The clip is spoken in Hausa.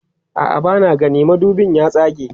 a'a bana gani madubin ya tsage